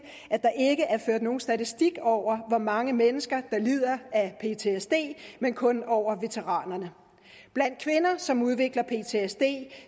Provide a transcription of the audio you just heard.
at nogen statistik over hvor mange mennesker der lider af ptsd men kun over veteranerne blandt kvinder som udvikler ptsd